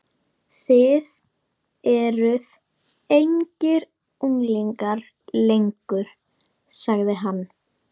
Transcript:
Þið eruð engir unglingar lengur sagði hann.